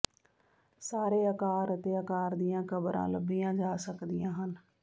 ਸਾਰੇ ਆਕਾਰ ਅਤੇ ਅਕਾਰ ਦੀਆਂ ਕਬਰਾਂ ਲੱਭੀਆਂ ਜਾ ਸਕਦੀਆਂ ਹਨ